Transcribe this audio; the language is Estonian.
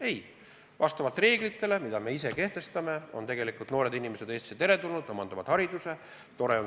Ei, vastavalt reeglitele, mis me ise kehtestame, on tegelikult noored inimesed Eestisse teretulnud siin haridust omandama.